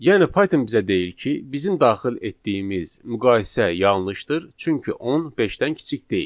Yəni Python bizə deyir ki, bizim daxil etdiyimiz müqayisə yanlışdır, çünki 10 beşdən kiçik deyil.